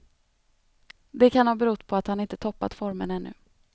Det kan ha berott på att han inte toppat formen ännu.